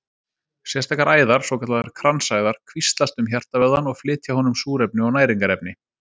Sérstakar æðar, svokallaðar kransæðar, kvíslast um hjartavöðvann og flytja honum súrefni og næringarefni.